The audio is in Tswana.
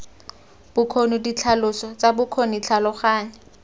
bokgoni ditlhaloso tsa bokgoni tlhaloganya